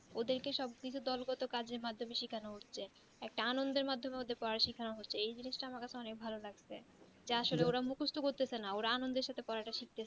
ওদের কে দোল মাধ্যমে সব কাজ সেখান হচ্ছে একটা অনন্বর মাধ্যমে ওদের কে পোড়ানো সেখান হচ্ছে এই জিন্স তা আমার কাছে অনেক ভালো লাগচে যা োর মুখস্ত করতেছে না আনন্দ তে পড়াটা করছে